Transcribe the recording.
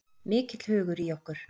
Mikill hugur í okkur